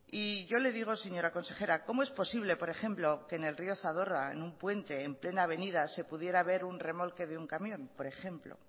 y yo le digo señora consejera cóomo es posible por ejemplo que en el rió zadorra en un punte en plena avenida se pudiera ver un remolque de un camión por ejemplo